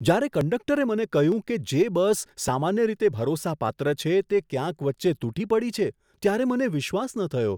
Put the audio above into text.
જ્યારે કંડક્ટરે મને કહ્યું કે જે બસ સામાન્ય રીતે ભરોસાપાત્ર છે તે ક્યાંક વચ્ચે તૂટી પડી છે ત્યારે મને વિશ્વાસ ન થયો!